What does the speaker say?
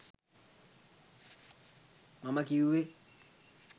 මම කිව්වේ